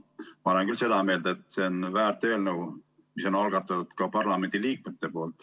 Ma olen küll seda meelt, et see on väärt eelnõu, mille on algatanud parlamendiliikmed.